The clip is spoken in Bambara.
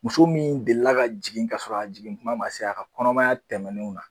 Muso min deli la ka jigin ka sɔrɔ a jigin tuma ma se a ka kɔnɔmaya tɛmɛnenw na.